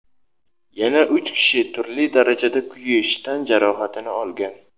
yana uch kishi turli darajada kuyish tan jarohatini olgan.